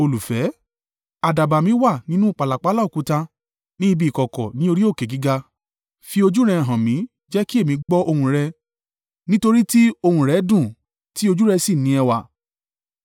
Àdàbà mi wà nínú pàlàpálá òkúta, ní ibi ìkọ̀kọ̀ ní orí òkè gíga, fi ojú rẹ hàn mí, jẹ́ kí èmi gbọ́ ohùn rẹ; nítorí tí ohùn rẹ dùn, tí ojú rẹ sì ní ẹwà.